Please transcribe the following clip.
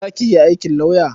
Za ki iya aikin lauya?